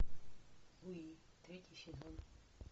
луи третий сезон